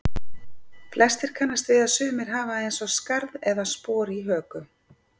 flestir kannast við að sumir hafa eins og skarð eða spor í höku